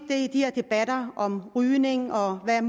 de her debatter om rygning og hvad